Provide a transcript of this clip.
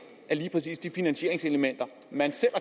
at lige præcis de finansieringselementer man selv